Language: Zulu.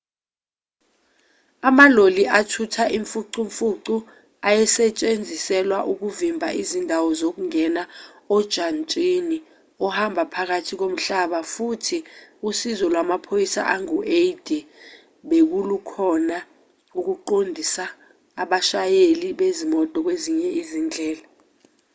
amaloli athutha imfucumfucu ayesetshenziselwa ukuvimba izindawo zokungena ojantshini ohamba ngaphansi komhlaba futhi usizo lwamaphoyisa angu-80 belukhona ukuqondisa abashayeli bezimoto kwezinye izindlela